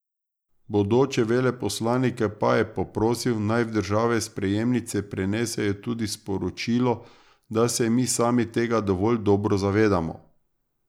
Bodoče veleposlanike pa je poprosil, naj v države sprejemnice prenesejo tudi sporočilo, da se mi sami tega dovolj dobro zavedamo.